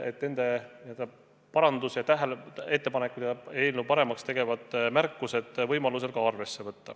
Kui võimalik, siis nende parandusettepanekuid ja tähelepanekuid, mis eelnõu paremaks võiksid teha, võetakse ka arvesse.